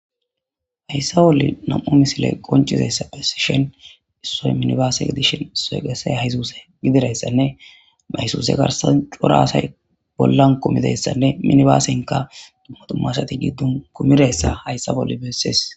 Hayssa bolle nam7u misile qoncizessa phesishen issoy minibaase edishen soy qese haysuse gidirayssanne maysuse garsan xora asay bollan kumideyssanne minibaasenka dumma tummasati giddun kumidayssa hayssa bolle beessees.